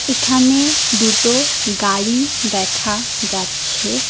এখানে দুটো গাড়ি দেখা যাচ্ছে।